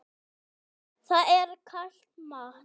Það er kalt mat.